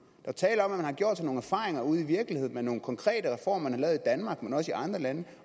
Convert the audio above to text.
er tale om at man har gjort sig nogle erfaringer ude i virkeligheden med nogle konkrete reformer man har lavet i danmark men også i andre lande